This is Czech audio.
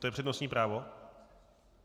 To je přednostní právo?